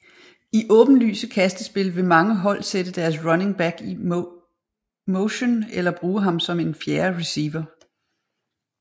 I åbenlyse kastespil vil mange hold sætte deres running back i motion eller bruge ham som en fjerde receiver